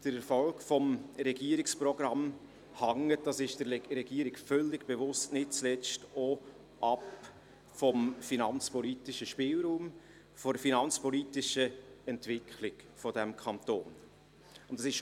Der Erfolg des Regierungsprogramms hängt auch vom finanzpolitischen Spielraum, von der finanzpolitischen Entwicklung dieses Kantons ab, was der Regierung völlig bewusst ist.